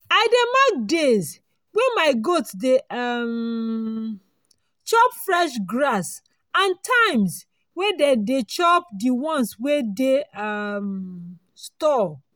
i dey mark days wey my goat dey um chop fresh grass and times wey dey dey chop di one wey dey um store.